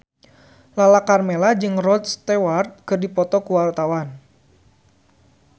Lala Karmela jeung Rod Stewart keur dipoto ku wartawan